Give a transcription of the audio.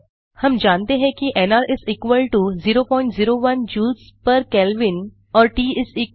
हम मानते हैं कि एनआर 001 joulesकेल्विन और ट 200क